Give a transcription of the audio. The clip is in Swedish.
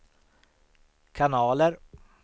kanaler